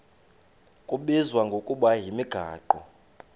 kubizwa ngokuba yimigaqo